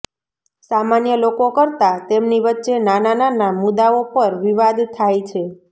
સામાન્ય લોકો કરતા તેમની વચ્ચે નાના નાના મુદ્દાઓ પર વિવાદ થાય છે